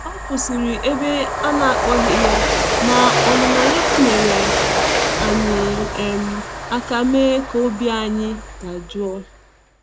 Ọ kwụsịrị ebe a na akpọghị ya, ma ọnụnọ ya nyeere anyị um aka me ka obi ayi dajụọ.